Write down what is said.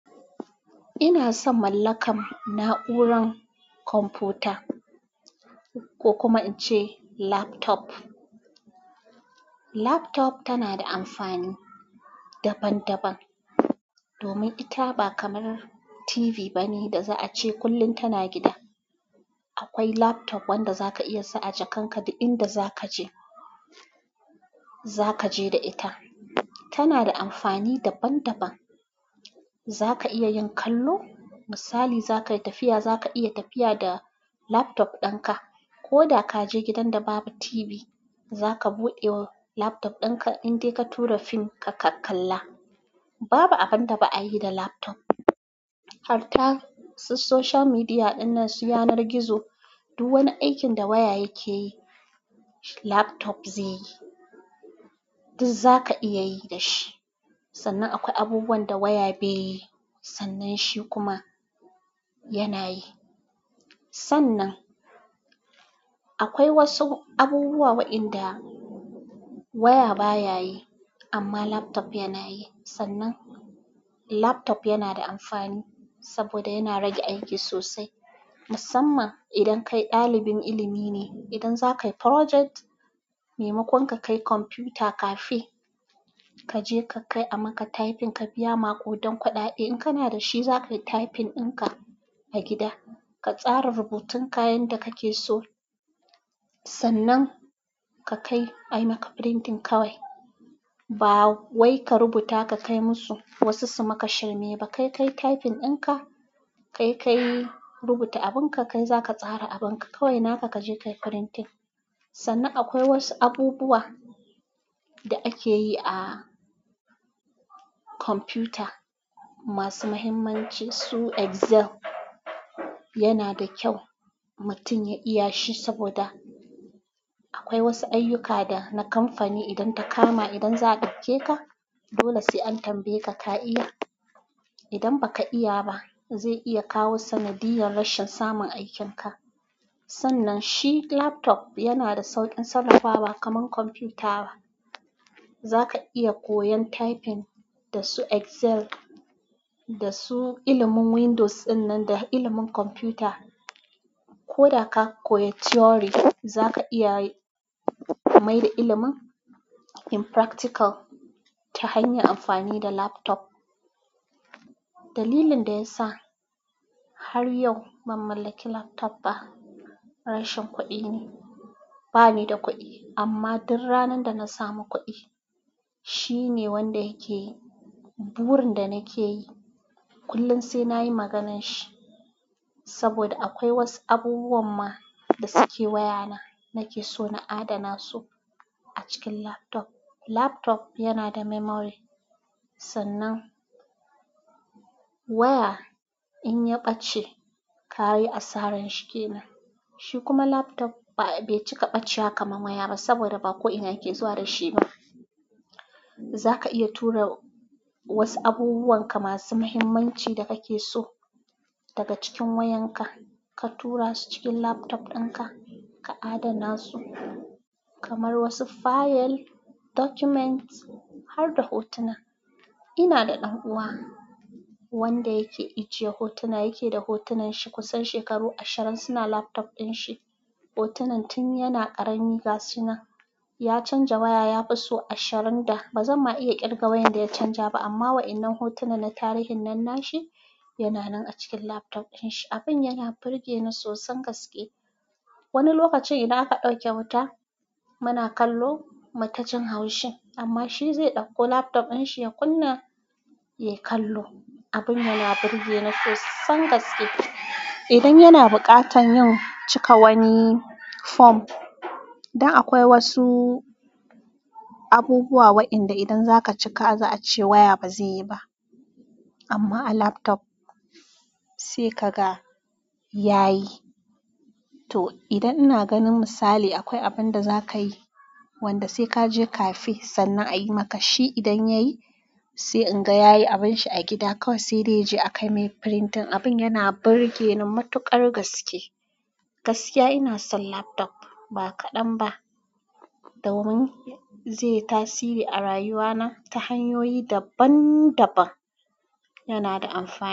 Ina son mallakar na'urar kwamfuta ko kuma ince laptop. Laptop tana da amfani daban-daban domin ita ba kamar TV ba ne da za a ce kullum tana gida. Akwai laptop wanda zaka iya sa a jakarka da inda za ka je, za ka je da ita. Tana da amfani daban-daban. Za ka iya yin kallo, misali, zakayi tafiya, zaka iya tafiya da laptop ɗin ka, ko da ka je gidan da babu TV, za ka buɗe laptop ɗin ka in dai ka tura fim ka kalla. Babu abin da ba a yi da laptop. Har ta su social media ɗin nan su yanar gizo. Du wani aikin da waya yake yi, laptop zai yi. Duk za ka iya yi da shi. Sannan akwai abubuwan da waya bai yi sannan shi kuma yana yi. Sannan akwai wasu abubuwa wa'enda waya bayayi amma laptop yanayi. Sannan. Laptop yana da amfani saboda yana rage aiki sosai. Musamman idan kai ɗalibin ilimi ne, idan za ka yi project, maimakon ka kai kwamfuta cafe, ka je ka kai a maka typing ka biya maƙudan kuɗaɗe. In kana da shi za ka yi typing ɗin ka a gida, ka tsara rubutun kayan da kake so. Sannan ka kai a yi maka printing kawai. Ba wai ka rubuta ka kai musu wasu su maka shirme ba. Kai kayi typing ɗinka, kai kayi rubuta abinka, kai zaka tsara abinka kawai naka kaje ayi printing, sannan akwai wasu abubuwa da akeyi a computer masu mahimmanci su excel yana da kyau mutum ya iya shi saboda akwai wasu ayyuka na kamfani idan ta kama idan za a ɗauke ka, dole sai an tambaye ka ka iya. Idan ba ka iya ba, zai iya kawo sanadiyar rashin samun aikin ka. Sannan shi laptop yana da sauƙin sarrafa ba kamar kwamfuta ba. Za ka iya koyon typing da su excel da su ilimin Windows ɗin nan da ilimin kwamfuta. Ko da ka koya theory, za ka iya mai da ilimin in practical ta hanyar amfani da laptop. Dalilin da ya sa har yau ban mallaki laptop ba rashin kuɗi ne. Banida kuɗi, amma dur ranar dana sami kuɗi shine wanda yake burin da nakeyi. Kullum sai na yi maganar shi saboda akwai wasu abubuwan ma da suke wayana nake so na adana su a cikin laptop. Laptop yana da memory. Sannan waya in ya ɓace, ka yi asaran shi kenan. Shi kuma laptop bai cika ɓacewa kamar waya ba saboda ba ko ina yake zuwa da shi ba. Za ka iya tura wasu abubuwan ka masu mahimmanci da kake so daga cikin wayan ka, ka tura su cikin laptop ɗin ka, ka adana su kamar wasu fayil, documents har da hotuna. Ina da ɗan'uwa wanda yake ijiye hotuna yake da hotunan shi kusan shekaru ashirin suna laptop ɗin shi. Hotunan tun yana ƙarami ga sunan. Ya canza waya ya fi su ashirin da. Ba zanma iya ƙirga wayanda ya canja ba amma waɗannan hotuna na tarihin nan nashi yana nan a cikin laptop ɗin shi. Abin yana burge ni sosan gaske. Wani lokacin idan aka ɗauke wuta muna kallo mutajin haushin amma shi zai ɗauko laptop ɗin shi ya kunna ya kallo. Abin yana burge ni sosan gaske. Idan yana buƙatar yin cika wani form, dan akwai wasu abubuwa waɗanda idan za ka cika za a ce waya ba zai yi ba amma a laptop sai kaga ya yi. To, idan ina ganin misali akwai abin da za ka yi wanda sai ka je cafe sannan a yi maka shi idan ya yi sai in ga yayi abin shi a gida kawai sai dai je a kai mai printing. Abin yana burge ni matuƙar gaske. Gaskiya ina son laptop ba kaɗan ba domin zai yi tasiri a rayuwa na ta hanyoyi daban-daban. Yana da amfani.